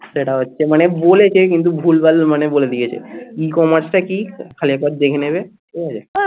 সেটা হচ্ছে. মানে বলেছে কিন্তু ভুলভাল মানে বলে দিয়েছে ecommerce টা কি? খালি একবার দেখে নেবে ঠিক আছে